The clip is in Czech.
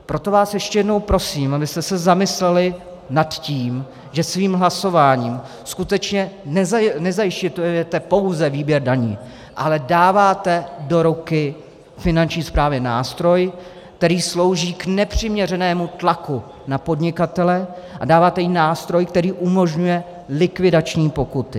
Proto vás ještě jednou prosím, abyste se zamysleli nad tím, že svým hlasováním skutečně nezajišťujete pouze výběr daní, ale dáváte do ruky Finanční správě nástroj, který slouží k nepřiměřenému tlaku na podnikatele, a dáváte jí nástroj, který umožňuje likvidační pokuty.